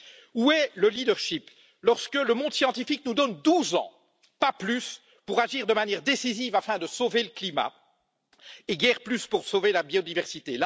Où est le leadership lorsque le monde scientifique nous donne douze ans, pas plus, pour agir de manière décisive afin de sauver le climat et guère plus pour sauver la biodiversité?